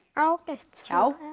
ágætt